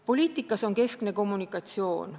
Poliitikas on keskne kommunikatsioon.